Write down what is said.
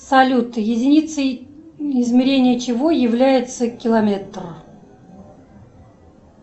салют единицей измерения чего является километр